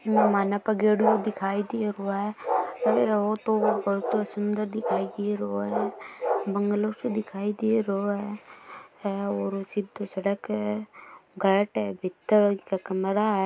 मेहमानो का दिखाई दे रहो है ओ तो बहोत ही सुंदर दिखाई दे रहो है बंगलो सो दिखाई दे रहो है और सीधी सड़क है गेट है भीतर इके कमरा है।